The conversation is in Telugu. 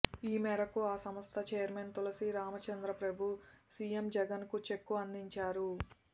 ఈ మేరకు ఆ సంస్థ చైర్మన్ తులసీ రామచంద్ర ప్రభు సీఎం జగన్కు చెక్కు అందించారు